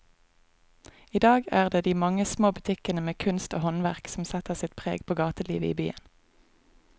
I dag er det de mange små butikkene med kunst og håndverk som setter sitt preg på gatelivet i byen.